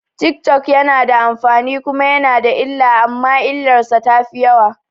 Tik tok yana da amfani kuma yana da illa amma illarsa tafi yawa